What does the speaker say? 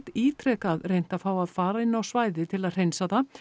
ítrekað reynt að fá að fara inn á svæðið til að hreinsa það